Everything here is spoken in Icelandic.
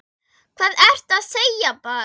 Hvað ertu að segja barn?